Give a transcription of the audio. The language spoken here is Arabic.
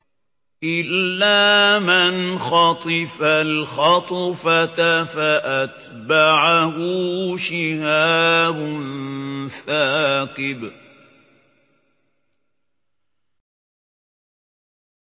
إِلَّا مَنْ خَطِفَ الْخَطْفَةَ فَأَتْبَعَهُ شِهَابٌ ثَاقِبٌ